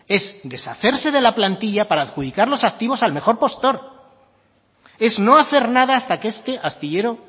es deshacerse de la plantilla para adjudicar los activos al mejor postor es no hacer nada hasta que este astillero